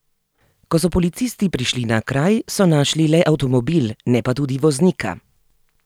Ko so policisti prišli na kraj, so našli le avtomobil, ne pa tudi voznika.